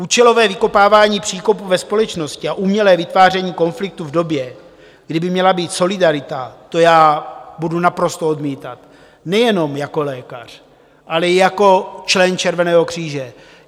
Účelové vykopávání příkopů ve společnosti a umělé vytváření konfliktů v době, kdy by měla být solidarita, to já budu naprosto odmítat nejenom jako lékař, ale jako člen Červeného kříže.